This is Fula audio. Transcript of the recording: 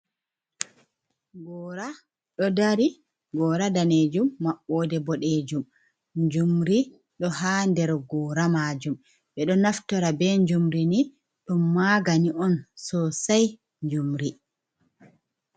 Gora do dari gora danejum mabbode bodejum, njumri do hader gora majum, be do naftora be njumri ni dom magani on sosai njumri.